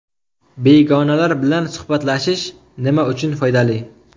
Begonalar bilan suhbatlashish nima uchun foydali?.